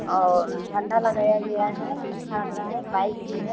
और झंडा लगाया गया है | अच्छा लग रहा है बाइक भी है |